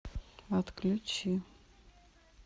отключи